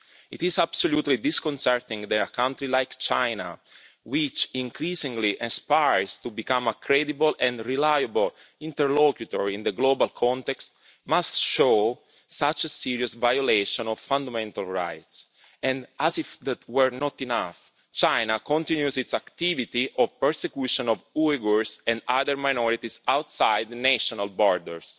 It is absolutely disconcerting that a country like China, which increasingly aspires to become a credible and reliable interlocutor in the global context, must show such a serious violation of fundamental rights. As if that were not enough, China continues its activity of persecution of Uyghurs and other minorities outside the national borders.